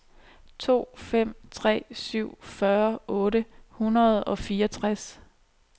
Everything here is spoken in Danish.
to fem tre syv fyrre otte hundrede og fireogtres